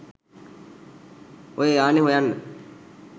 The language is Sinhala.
ඔය යානෙ හොයන්න.